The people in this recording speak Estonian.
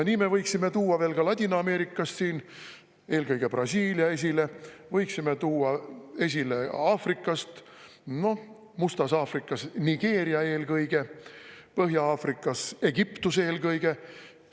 Nii me võiksime tuua esile veel Ladina-Ameerikast eelkõige Brasiilia, võiksime tuua esile Aafrikast, noh, Mustas Aafrikas eelkõige Nigeeria, Põhja-Aafrikas eelkõige Egiptuse.